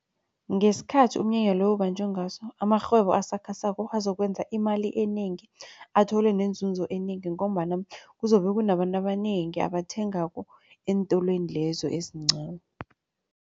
Ngesikhathi umnyanya lo ubanjwe ngaso amarhwebo asakhasako azokwenza imali enengi athole nenzunzo enengi ngombana kuzobe kunabantu abanengi abathengako eentolweni lezo ezincani.